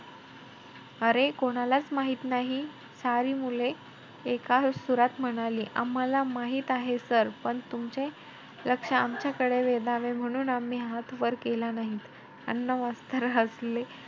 अरे कोणालाच माहित नाही? सारी मुले एका सुरात म्हणाली, आम्हाला माहित आहे sir पण तुमचे लक्ष आमच्याकडे वेधावे म्हणून आम्ही हात वर केला नाही. अण्णा मास्तर हसले.